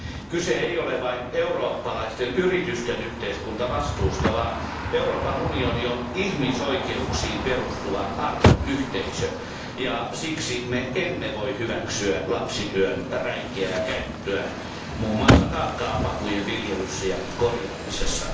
Kyse ei ole vain eurooppalaisten yritysten yhteiskuntavastuusta vaan Euroopan unioni on ihmisoikeuksiin perustuva arvoyhteisö, ja siksi me emme voi hyväksyä lapsityön räikeää käyttöä muun muassa kaakaopapujen viljelyssä ja korjaamisessa.